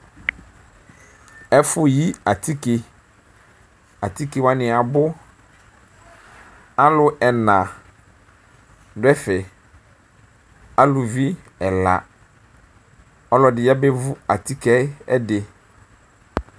ɛƒʋyi atike atike wani abʋ alʋ ɛna dʋ ɛƒɛ alʋvi ɛla ɔlʋɛdi yabevʋ atike ɛdi